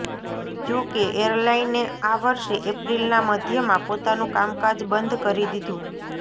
જોકે એરલાઈને આ વર્ષે એપ્રિલના મધ્યમાં પોતાનું કામકાજ બંધ કરી દીધું